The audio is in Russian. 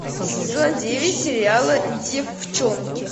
сезон девять сериала девчонки